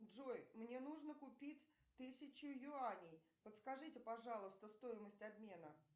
джой мне нужно купить тысячу юаней подскажите пожалуйста стоимость обмена